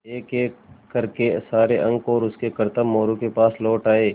एकएक कर के सारे अंक और उनके करतब मोरू के पास लौट आये